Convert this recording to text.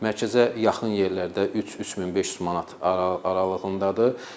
Mərkəzə yaxın yerlərdə 3, 3500 manat aralığındadır.